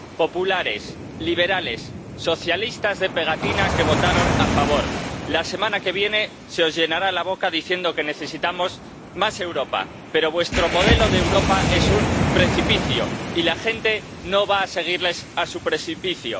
Populares, liberales, socialistas de pegatina que votaron a favor la semana que viene se os llenará la boca diciendo que necesitamos más Europa, pero vuestro modelo de Europa es un precipicio y la gente no va a seguirles a su precipicio.